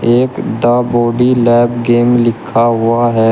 एक the body lab game लिखा हुआ है।